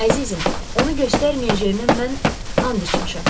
Əzizim, onu göstərməyəcəyimə mən and içmişəm.